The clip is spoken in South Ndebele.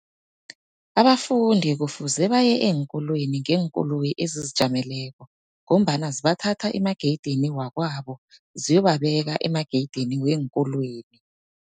Abafundi kufuze baye eenkolweni ngeenkoloyi ezizijameleko, ngombana zibathatha emageyidini wakwabo ziyobabeka emageyidini weenkolweni.